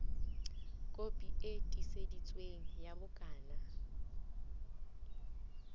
kopi e tiiseditsweng ya bukana